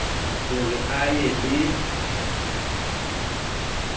ho re a ye le